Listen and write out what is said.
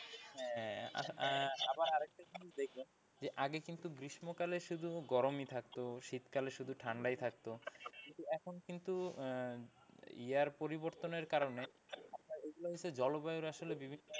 আহ আবার আর একটা জিনিস দেখবেন যে আগে কিন্তু গ্রীষ্মকালে শুধু গরমই থাকতো শীতকালে শুধু ঠান্ডাই থাকতো কিন্তু এখন কিন্তু আহ year পরিবর্তনের কারণে এগুলো আসলে জলবায়ুর আসলে বিভিন্ন,